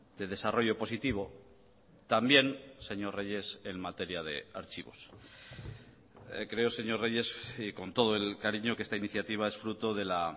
de desarrollo positivo también señor reyes en materia de archivos creo señor reyes y con todo el cariño que esta iniciativa es fruto de la